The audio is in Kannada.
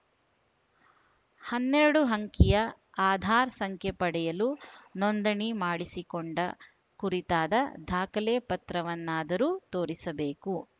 ಹನ್ನೆರಡು ಅಂಕಿಯ ಆಧಾರ್‌ ಸಂಖ್ಯೆ ಪಡೆಯಲು ನೋಂದಣಿ ಮಾಡಿಸಿಕೊಂಡ ಕುರಿತಾದ ದಾಖಲೆ ಪತ್ರವನ್ನಾದರೂ ತೋರಿಸಬೇಕು